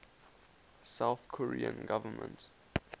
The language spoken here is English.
south korean government